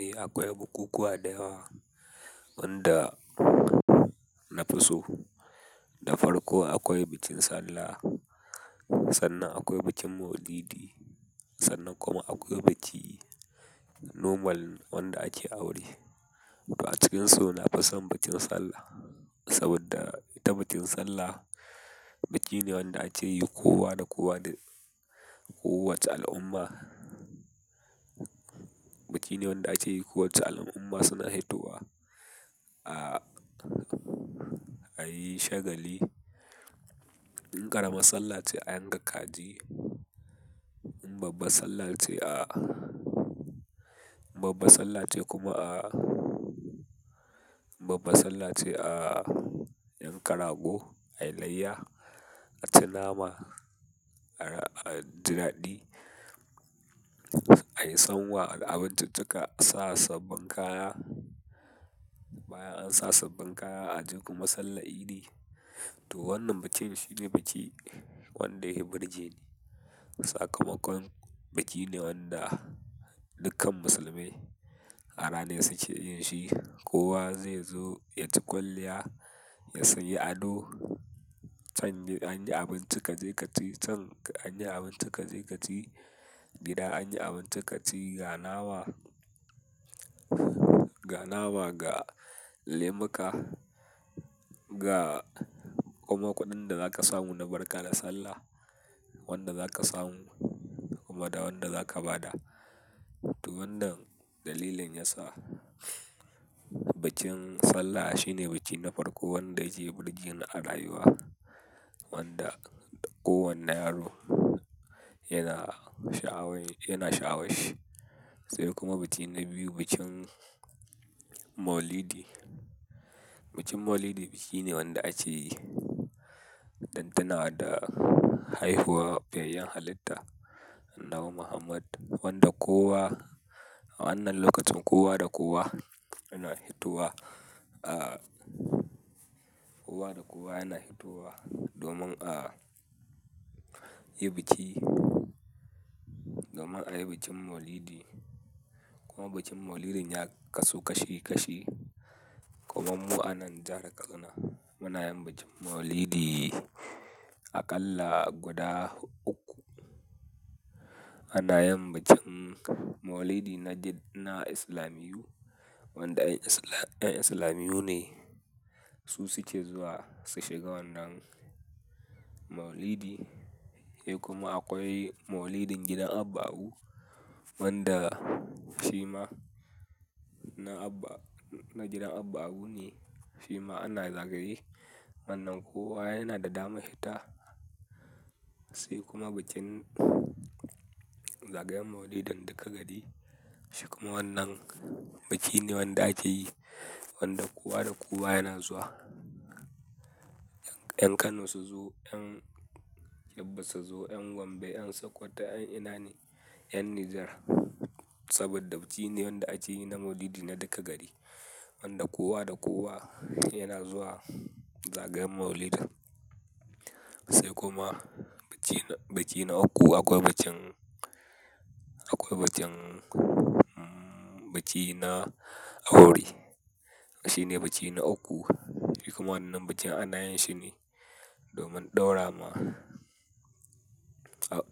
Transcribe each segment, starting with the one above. Eh akwai bukukuwa da yawa wanda na fi so. Da farko akwai bikin sallah, sannan akwai bikin maulidi, sannan kuma akwai biki normal wanda ake aure. To a cikinsu na fi son bikin sallah saboda ta bikin sallah, biki ne wanda ake yi kowa da kowa da uwat al'umma. Biki ne wanda ake yi kowace al'umma suna fitowa a yi shagali. In ƙaramar sallah ce a yanka kaji, in babbar sallah ce a, babban sallah ce kuma a, babban sallah ce a yanka rago, a yi layya, a ci nama, a, a ji daɗi, a yi sanwa da abinciccika, a sa sabbin kaya. Bayan an sa sabbin kaya a tafi ga masallaci sallar idi, to wannan bikin shine biki wanda ya yi burji ne. Sakamakon biki ne wanda dukkan Musulmai a ranar suke yin shi. Kowa zai zo ya ci kwalliya, ya sayi ado. Can an yi abinci kaje kaci, can an yi abinci kaje kaci gida, an yi abinci kaci ga nama, ga nama, ga lemuka, ga kuma kuɗin da za ka samu na barka da sallah, wanda za ka samu kuma da wanda za ka ba da. To wannan dalilin yasa bikin sallah shine biki na farko wanda ya je burge ni a rayuwa wanda kowane yaro yana sha'awa, yana sha'awa shi. Sai kuma biki na biyu bikin maulidi. Bikin maulidi biki ne wanda ake yi dan tuna da haihuwar fiyayyen halitta Annabi Muhammad wanda kowa a wannan lokacin kowa da kowa yana hitowa a, kowa da kowa yana hitowa domin a yi bikin, domin a yi bikin maulidi. Kuma bikin maulidi ya kasu kashi kashi kuma mu anan jihar Kano muna yin bikin maulidi aƙalla guda uku. Ana yin bikin maulidi na Islamiyyu wanda 'yan Islam, 'yan Islamiyyu ne su suke zuwa su shiga wannan maulidi. Eh kuma akwai maulidin gidan Abba Apu wanda fi ma na Abba, na gidan Abba Apu ne fi ma ana zagaye. Wannan kowa yana da dama fitasai kuma bikin zagayen maulidin duka gari. Sai kuma wannan biki ne wanda ake yi wanda kowa da kowa yana zuwa. 'Yan Kano su zo, 'yan Yabba su zo, 'yan Gombe, 'yan Sokoto, 'yan Inani, 'yan Nijar saboda biki ne wanda ake yi na maulidi na duka gari wanda kowa da kowa yana zuwa zagayen maulidin. Sai kuma biki, biki na uku akwai bikin, akwai bikin, biki na aure. Shi ne biki na uku sai kuma wannan bikin ana yin shi ne domin ɗaura ma,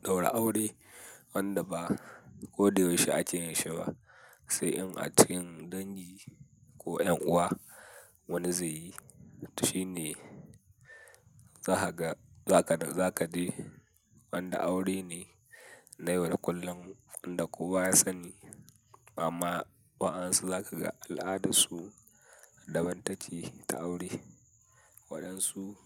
ɗaura aure wanda ba ko da yaushe ake yin shi ba sai in a cikin dangi ko 'yan'uwa wani zai yi. To shi ne za ka ga, za ka, za ka je wanda aure ne na yau da kullum wanda kowa ya sani. Amma waɗansu za ka ga al'adarsu daban take ta aure. Waɗansu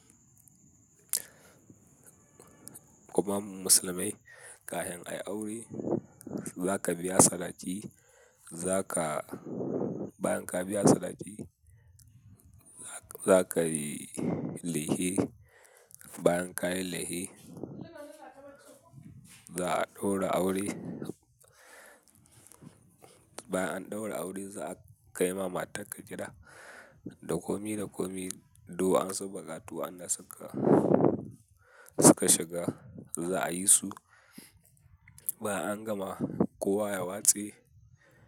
kuma Musulmai kafin ayi aure za ka biya sadaki, za ka bayan ka biya sadaki za ka yi lefe bayan ka yi lefe za a ɗaura aure. Bayan an ɗaura aure za a kai ma matarka gida da komi da komi, duk wa su, buƙatu waɗanda suka, suka shiga za a yi su bayan an gama kowa ya watse.